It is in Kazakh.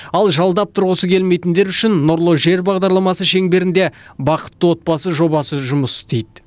ал жалдап тұрғысы келмейтіндер үшін нұрлы жер бағдарламасы шеңберінде бақытты отбасы жобасы жұмыс істейді